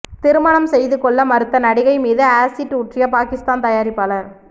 திருமணம் செய்து கொள்ள மறுத்த நடிகை மீது ஆசிட் ஊற்றிய பாகிஸ்தான் தயாரிப்பாளர்